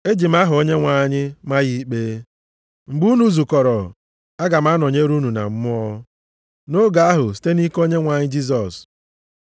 Eji m aha Onyenwe anyị ma ya ikpe. Mgbe unu zukọrọ, aga m anọnyere unu na mmụọ. Nʼoge ahụ, site nʼike Onyenwe anyị Jisọs,